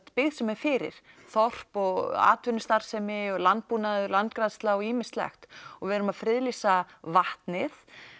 byggð sem er fyrir þorp og atvinnustarfsemi og landbúnaður landgræðsla og ýmislegt og við erum að friðlýsa vatnið